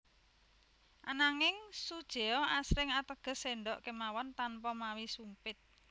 Ananging sujeo asring ateges séndhok kemawon tanpa mawi sumpit